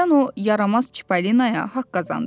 Hərdən o yaramaz Çipalinoya haqq qazandırıram.